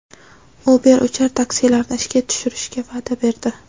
Uber uchar taksilarni ishga tushirishga va’da berdi.